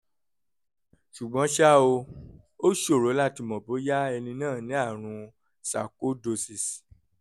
ṣùgbọ́n ṣá o ó ṣòro láti mọ̀ bóyá ẹni náà ní àrùn sarcoidosis